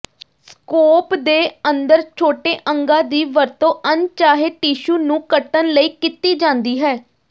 scope ਦੇ ਅੰਦਰ ਛੋਟੇ ਅੰਗਾਂ ਦੀ ਵਰਤੋਂ ਅਣਚਾਹੇ ਟਿਸ਼ੂ ਨੂੰ ਕੱਟਣ ਲਈ ਕੀਤੀ ਜਾਂਦੀ ਹੈ